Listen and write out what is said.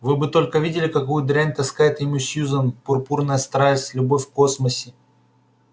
вы бы только видели какую дрянь таскает ему сьюзен пурпурная страсть любовь в космосе